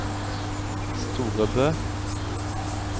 Storebø